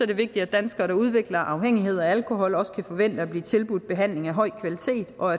det vigtigt at danskere der udvikler afhængighed af alkohol også kan forvente at blive tilbudt behandling af høj kvalitet og